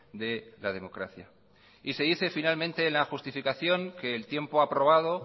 de la democracia y se dice finalmente en la justificación que el tiempo ha probado